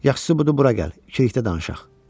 Yaxşısı budur, bura gəl, ikilikdə danışaq.